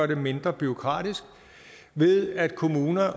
det mindre bureaukratisk ved at kommuner